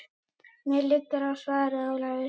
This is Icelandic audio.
Mér liggur á, svaraði Ólafur.